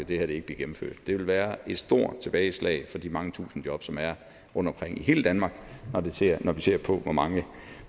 det her ikke bliver gennemført det ville være et stort tilbageslag for de mange tusinde job som er rundtomkring i hele danmark når vi ser på hvor mange